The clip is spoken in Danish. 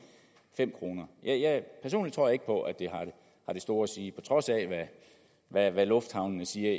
fem kroner personligt tror jeg ikke på at det har det store at sige på trods af af hvad lufthavnene siger